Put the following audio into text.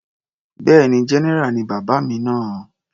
Bẹ́ẹ̀ni, general ni bàbá mi náà.